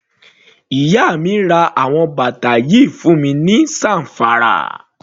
Iya mi ra àwọn bàtà yìí fún mi ní Zamfara.